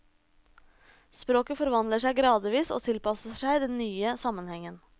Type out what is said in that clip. Språket forvandler seg gradvis og tilpasser seg den nye sammenhengen.